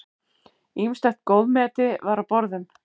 Ýmislegt góðmeti var á borðum.